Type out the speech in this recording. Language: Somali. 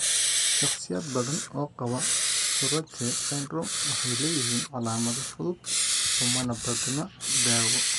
Shakhsiyaad badan oo qaba Tourette syndrome waxay leeyihiin calaamado fudud umana baahna daawo.